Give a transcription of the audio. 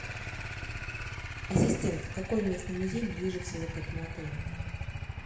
ассистент какой местный музей ближе всего к этому отелю